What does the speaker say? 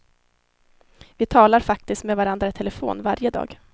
Vi talar faktiskt med varandra i telefon varje dag.